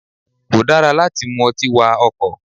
Kò dára láti mú ọtí wa ọkọ̀.